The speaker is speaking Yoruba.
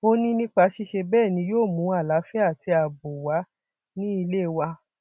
ó ní nípa ṣíṣe bẹẹ ni yóò mú àlàáfíà àti ààbò wà ní ilé wa